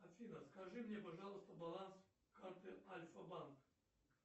афина скажи мне пожалуйста баланс карты альфа банк